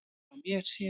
Frá mér séð.